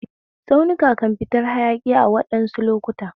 Tsaunuka kan fitar hayaki a waɗansu lokuta